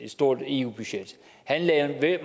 stort eu budget han lagde